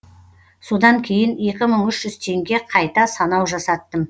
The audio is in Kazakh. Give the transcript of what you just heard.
содан кейін екі мың үш жүз теңге қайта санау жасаттым